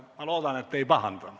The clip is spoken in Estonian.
" Ma loodan, et te ei pahanda.